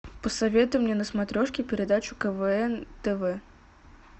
посоветуй мне на смотрешке передачу квн тв